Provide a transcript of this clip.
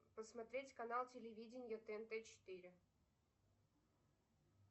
посмотреть канал телевидение тнт четыре